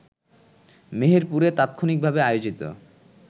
মেহেরপুরে তাৎক্ষণিকভাবে আয়োজিত